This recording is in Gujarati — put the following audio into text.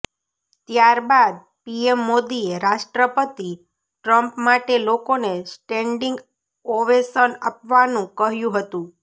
ત્યાર બાદ પીએમ મોદીએ રાષ્ટ્રપતિ ટ્રમ્પ માટે લોકોને સ્ટેન્ડિંગ ઓવેશન આપવાનું કહ્યું હતું